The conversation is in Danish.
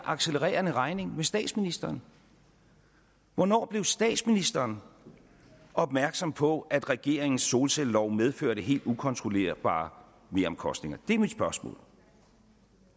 accelererende regning med statsministeren hvornår blev statsministeren opmærksom på at regeringens solcellelov medførte helt ukontrollerbare meromkostninger det er mit spørgsmål og